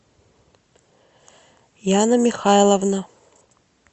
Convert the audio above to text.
яна михайловна